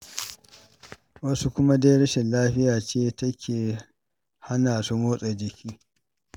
Wasu kuma dai rashin lafiyar ce take hana su motsa jiki.